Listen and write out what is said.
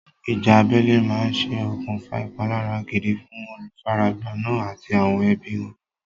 Ìjà abẹ́lé máa ṣe okùnfà ìpalára gidi fún olùfaragbá náà àti àwọn ẹbí wọn.